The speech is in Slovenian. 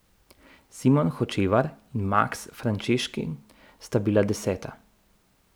Simon Hočevar in Maks Frančeškin sta bila deseta.